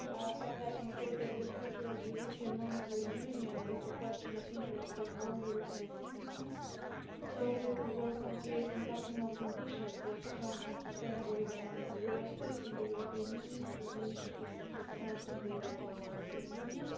I would like to say that the future of the European monetary union is a question of interest for all European citizens, so we will work on creating optimal conditions for strong and sustainable economic growth in the European Union, through initiatives to strengthen the European monetary union.